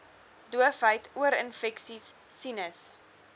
doofheid oorinfeksies sinus